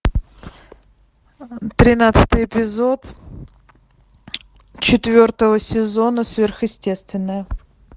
тринадцатый эпизод четвертого сезона сверхъестественное